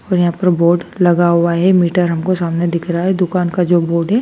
और यहां पर बोर्ड लगा हुआ है मीटर हमको सामने दिख रहा है दुकान का जो बोर्ड है।